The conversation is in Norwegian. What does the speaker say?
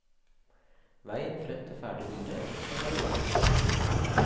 Veien frem til ferdig bilde kan være lang.